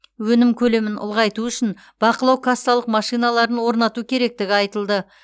өнім көлемін ұлғайту үшін бақылау кассалық машиналарын орнату керектігі айтылды